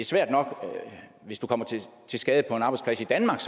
svært nok hvis du kommer til skade på en arbejdsplads i danmark